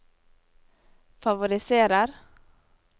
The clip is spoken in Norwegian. favoriserer